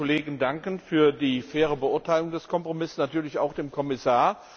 Ich möchte den Kollegen danken für die faire Beurteilung des Kompromisses, natürlich auch dem Kommissar.